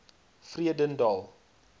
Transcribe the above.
vredendal